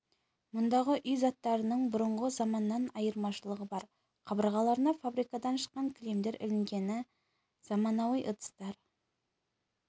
мұндағы үй заттарының бұрынғы заманнан айырмашылығы бар қабырғаларына фабрикадан шыққан кілемдер ілінген заманауи ыдыстар